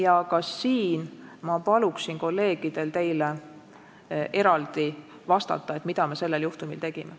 Aga ka sellele küsimusele ma palun kolleegidel teile eraldi vastata, et te teaksite, mida me konkreetsel juhtumil tegime.